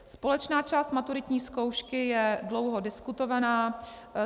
Společná část maturitní zkoušky je dlouho diskutovaná.